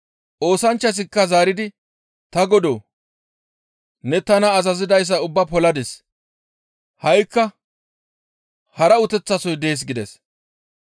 «Oosanchchazikka zaaridi, ‹Ta Godoo! Ne tana azazidayssa ubbaa poladis; ha7ikka hara uteththasoy dees› gides.